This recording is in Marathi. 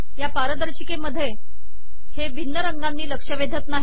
या पारदर्शिकेमधे हे भिन्न रंगानी लक्ष वेधत नाही